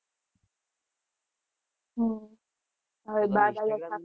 હમ હવે